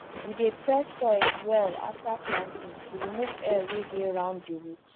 we dey press soil well after planting to remove air wey dey round the root